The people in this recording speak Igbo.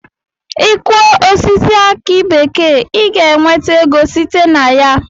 I Kụọ osisi aki bekee I ga enweta ego site na ya.